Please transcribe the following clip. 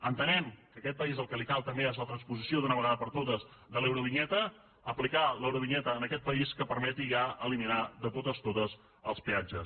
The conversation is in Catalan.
entenem que a aquest país el que li cal també és la transposició d’una vegada per totes de l’eurovinyeta aplicar l’eurovinyeta en aquest país que permeti ja eliminar de totes totes els peatges